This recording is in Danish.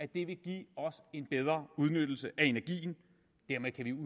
det vil give os en bedre udnyttelse af energien og dermed kan